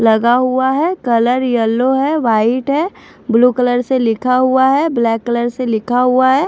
लगा हुआ है कलर यल्लो है वाइट है ब्लू कलर से लिखा हुआ है ब्लैक कलर से लिखा हुआ है।